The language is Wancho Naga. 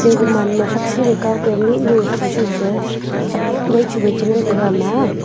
guman ma takshi kao ke mihnu thak chu pe thak nai chu wai che ngan taiga ama a.